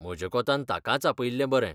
म्हज्या कोंतान ताकाच आपयिल्लें बरे.